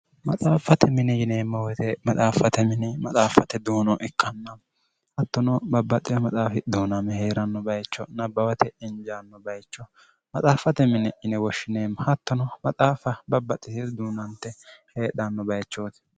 maxaaffate mini yineemmo wete maxaaffate mini maxaaffate duuno ikkannamo hattono babbaxxiwa maxaafi duuname hee'ranno bayicho nabbawate injaanno bayicho maxaaffate mini ine woshshineemmo hattono maxaafa babbaxxisi duunante heedhanno bayichooti